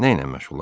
Nə ilə məşğulam?